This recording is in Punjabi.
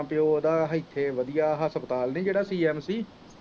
ਮਾਂ ਪੀਓ ਇੱਥੇ ਵਧੀਆ ਹੱਸਪਤਾਲ ਨੀ ਜਿਹੜਾ cmc